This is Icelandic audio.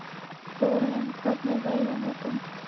Þórarinn, hvernig er veðrið á morgun?